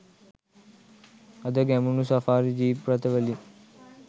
අද Gemunu safari jeep රථ වලින්